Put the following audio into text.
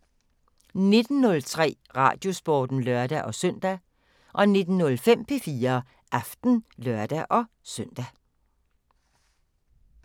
19:03: Radiosporten (lør-søn) 19:05: P4 Aften (lør-søn)